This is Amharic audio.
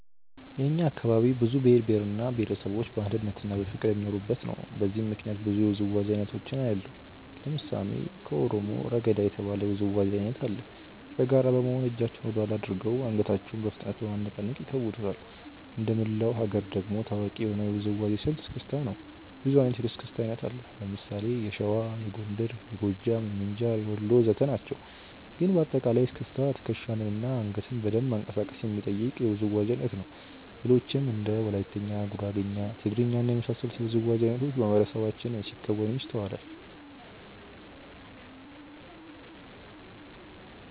የእኛ አካባቢ ብዙ ብሄር እና ብሄረሰቦች በአንድነትና በፍቅር የሚኖሩበት ነው። በዚህም ምክንያት ብዙ የውዝዋዜ አይነቶችን አያለሁ። ለምሳሌ ከኦሮሞ "ረገዳ" የተባለ የውዝዋዜ አይነት አለ። በጋራ በመሆን እጃቸውን ወደኋላ አድርገው አንገታቸውን በፍጥነት በማነቃነቅ ይከውኑታል። እንደመላው ሀገር ደግሞ ታዋቂ የሆነው የውዝዋዜ ስልት "እስክስታ" ነው። ብዙ አይነት የእስክስታ አይነት አለ። ለምሳሌ የሸዋ፣ የጎንደር፣ የጎጃም፣ የምንጃር፣ የወሎ ወዘተ ናቸው። ግን በአጠቃላይ እስክስታ ትከሻን እና አንገትን በደንብ ማንቀሳቀስ የሚጠይቅ የውዝዋዜ አይነት ነው። ሌሎችም እንደ ወላይትኛ፣ ጉራግኛ፣ ትግርኛ እና የመሳሰሉት የውዝዋዜ አይነቶች በማህበረሰባችን ሲከወኑ ይስተዋላል።